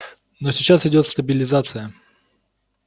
но сейчас идёт стабилизация